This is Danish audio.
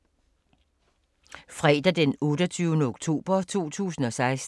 Fredag d. 28. oktober 2016